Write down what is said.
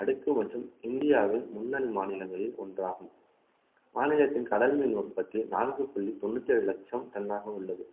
அடுக்கு மற்றும் இந்தியாவில் முன்னணி மாநிலங்களில் ஒன்றாகும் மாநிலத்தின் கடல் மீன் உற்பத்தி நான்கு புள்ளி தொண்ணூத்தி ஏழு லட்சம் டன்னாக உள்ளது